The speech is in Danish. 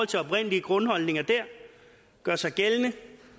til oprindelige grundholdninger der gør sig gældende